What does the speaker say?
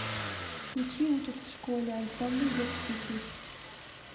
включи учат в школе ансамбль детские песни